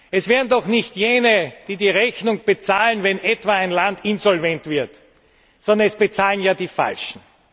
Es wären doch nicht sie, die die Rechnung bezahlen, wenn etwa ein Land insolvent wird, sondern es bezahlen ja die Falschen!